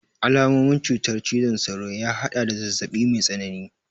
Alamomin cutar cizon sauro ya haɗada zazzaɓi mai tsanani